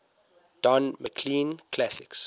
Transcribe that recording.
don mclean classics